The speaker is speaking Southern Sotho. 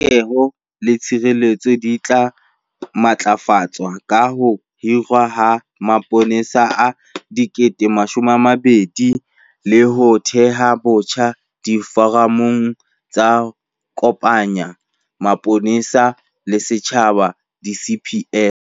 Polokeho le tshireletso di tla matlafatswa ka ho hirwa ha mapolesa a 12 000 le ho theha botjha diforamo tse kopanyang sepolesa le setjhaba, di-CPF.